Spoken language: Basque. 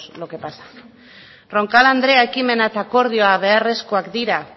qué pasa roncal andrea ekimena eta akordioa beharrezkoak dira